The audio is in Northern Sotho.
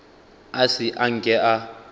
a se a nke a